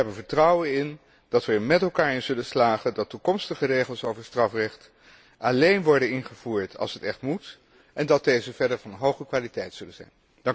Ik heb er vertrouwen in dat we er met elkaar in zullen slagen dat toekomstige regels over strafrecht alleen worden ingevoerd als het echt moet en dat deze verder van hoge kwaliteit zullen zijn.